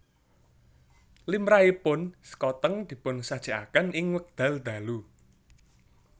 Limrahipun sekoteng dipun sajèkaken ing wekdal dalu